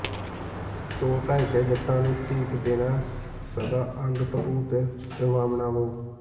ਧੋ ਧਾਇਕੇ ਜਟਾਂ ਨੂੰ ਧੂਪ ਦੇਣਾ ਸਦਾ ਅੰਗ ਭਭੂਤ ਰਮਾਵਣਾ ਵੋ